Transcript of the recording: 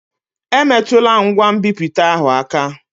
Emetụla ngwa nbipute ahụ aka!